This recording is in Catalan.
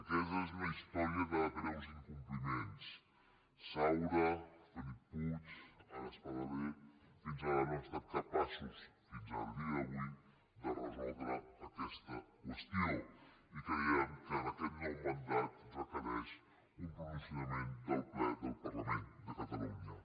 aquesta és una història de greus incompliments saura felip puig ara espadaler fins ara no han estat capaços fins al dia d’avui de resoldre aquesta qüestió i creiem que en aquest nou mandat requereix un pronunciament del ple del parlament de catalunya